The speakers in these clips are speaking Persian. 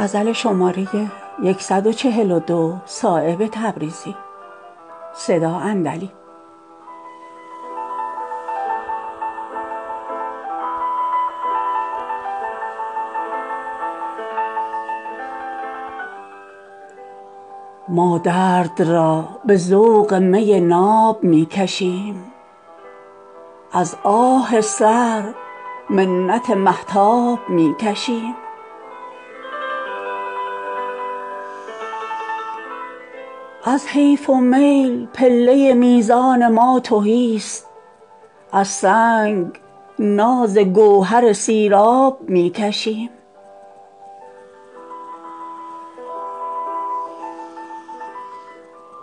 ما درد را به ذوق می ناب می کشیم از آه سرد منت مهتاب می کشیم از حیف و میل پله میزان ما تهی است از سنگ ناز گوهر سیراب می کشیم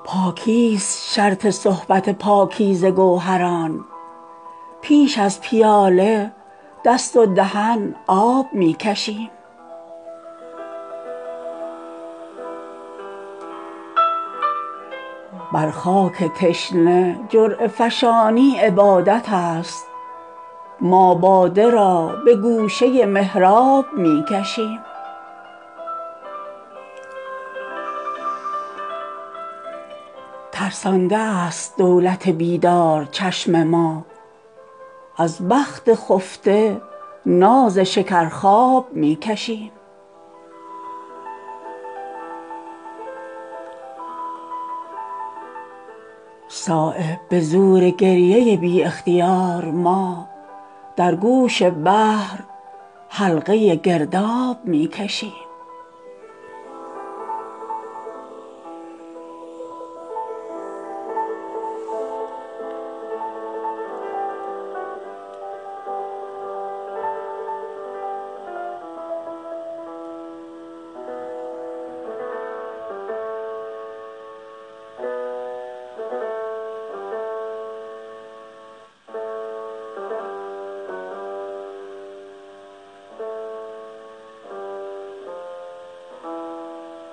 پاکی است شرط صحبت پاکیزه گوهران پیش از پیاله دست و دهن آب می کشیم بر خاک تشنه جرعه فشانی عبادت است ما باده را به گوشه محراب می کشیم از آب زندگی نکشد هیچ تشنه لب نازی که ما ز خنجر سیراب می کشیم داریم با کجی طمع راستی ز خلق گوهر برون ز بحر به قلاب می کشیم نتوان به خار و خس ره سیلاب را گرفت دست ازعنان این دل بیتاب می کشیم ترسانده است دولت بیدار چشم ما از بخت خفته ناز شکر خواب می کشیم از رفتن حیات که بودیم دلگران امروز ناز آمدن آب می کشیم ما خواب را به دیده خود تلخ کرده ایم شیر و شکر ز ساغر مهتاب می کشیم صایب به زور گریه بی اختیار ما در گوش بحر حلقه گرداب می کشیم